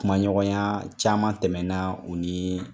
Kuma ɲɔgɔnya caman tɛmɛna u nii